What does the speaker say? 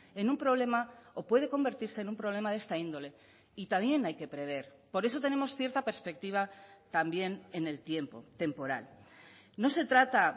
en un problema o puede convertirse en un problema de esta índole y también hay que prever por eso tenemos cierta perspectiva también en el tiempo temporal no se trata